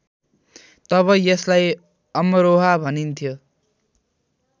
तब यसलाई अमरोहा भनिन्थ्यो